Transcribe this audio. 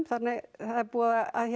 það er búið að